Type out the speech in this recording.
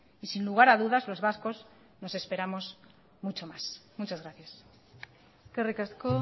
y sin lugar a dudas los vascos nos esperamos mucho más muchas gracias eskerrik asko